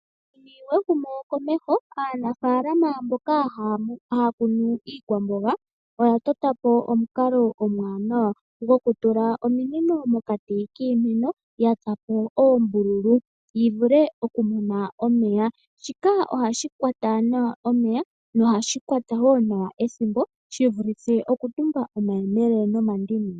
Ehumokomeho. Aanafaalama mboka haya kunu iikwamboga, oya tota po omukalo omuwanawa gokutula ominino pokati kiimeno ya tsa po oombululu yi vule okumona omeya. Shika ohashi kwata nawa omeya nohashi kwata wo nawa ethimbo shi vulithe okutumba omayemele nomandini.